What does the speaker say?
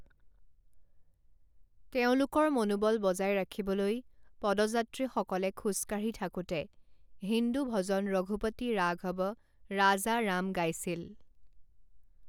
তেওঁলোকৰ মনোবল বজাই ৰাখিবলৈ, পদযাত্ৰীসকলে খোজ কাঢ়ি থাকোঁতে হিন্দু ভজন ৰঘুপতি ৰাঘৱ ৰাজা ৰাম গাইছিল।